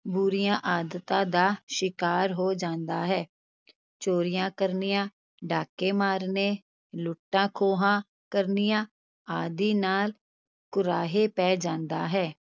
ਬੁਰੀਆਂ ਆਦਤਾਂ ਦਾ ਸ਼ਿਕਾਰ ਹੋ ਜਾਂਦਾ ਹੈ, ਚੋਰੀਆਂ ਕਰਨੀਆਂ, ਡਾਕੇ ਮਾਰਨੇ, ਲੁੱਟਾਂ-ਖੋਹਾਂ ਕਰਨੀਆਂ ਆਦਿ ਨਾਲ ਕੁਰਾਹੇ ਪੈ ਜਾਂਦਾ ਹੈ।